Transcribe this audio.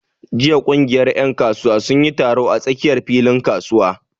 Jiya ƙungiyar ƴan kasuwa sun yi taro a tsakiyar filin kasuwa.